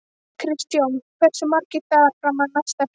Kristjón, hversu margir dagar fram að næsta fríi?